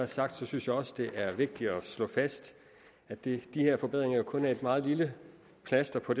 sagt synes jeg også det er vigtigt at slå fast at de her forbedringer kun er et meget lille plaster på